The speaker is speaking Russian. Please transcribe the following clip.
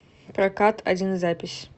прокат один запись